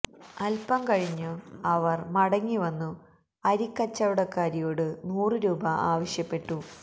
അല്പം കഴിഞ്ഞു അവർ മടങ്ങി വന്നു അരിക്കച്ചവടക്കാരിയോട് നൂറു രൂപാ ആവശ്യപ്പെട്ടു